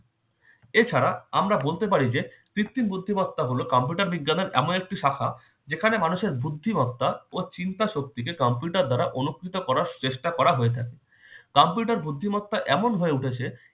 এছাড়া আমরা বলতে পারি যে কৃত্রিম বুদ্ধিমত্তা হলো computer বিজ্ঞানের এমন একটি শাখা যেখানে মানুষের বুদ্ধিমত্তা ও চিন্তা শক্তিকে computer দ্বারা অনুকৃত করার চেষ্টা করা হয়ে থাকে। computer বুদ্ধিমত্তা এমন হয়ে উঠেছে